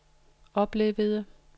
oplevede